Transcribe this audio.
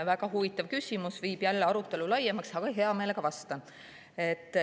Väga huvitav küsimus, viib jälle arutelu laiemaks, aga ma hea meelega vastan.